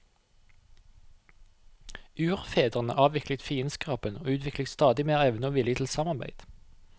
Urfedrene avviklet fiendskapen og utviklet stadig mer evne og vilje til samarbeid.